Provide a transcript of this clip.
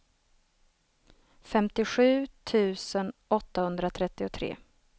femtiosju tusen åttahundratrettiotre